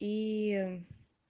иии